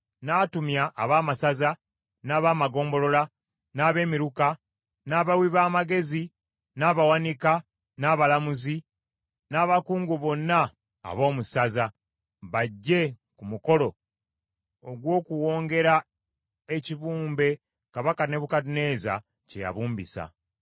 N’atumya abaamasaza, n’abaamagombolola, n’abemiruka, n’abawi b’amagezi, n’abawanika, n’abalamuzi, n’abakungu bonna ab’omu masaza, bajje ku mukolo ogw’okuwongera ekibumbe Kabaka Nebukadduneeza kye yabumbisa.